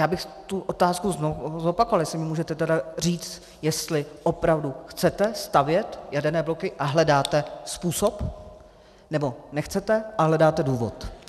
Já bych tu otázku zopakoval - jestli můžete tedy říci, jestli opravdu chcete stavět jaderné bloky a hledáte způsob, nebo nechcete a hledáte důvod.